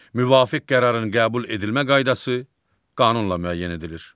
Müvafiq qərarın qəbul edilmə qaydası qanunla müəyyən edilir.